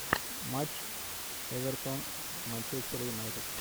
матч эвертон манчестер юнайтед